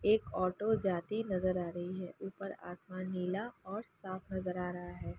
एक ऑटो जाती नज़र आर ही है। ऊपर आसमान नीला और साफ़ नज़र आ रहा है।